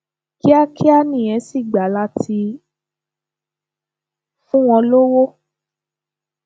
kíákíá nìyẹn sì gbà láti fún wọn lówó